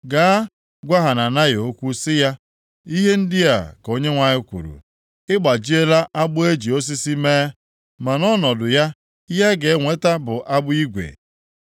“Gaa gwa Hananaya okwu sị ya, ‘Ihe ndị a ka Onyenwe anyị kwuru: Ị gbajiela agbụ e ji osisi mee, ma nʼọnọdụ ya ihe ị ga-enweta bụ agbụ igwe.